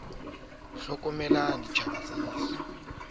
marapo a dieta a kgaohile